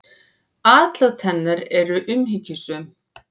Atlot hennar eru umhyggjusöm.